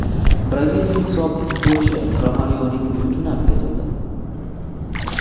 Braziliyalik sobiq futbolchi Romarioning uyi tunab ketildi.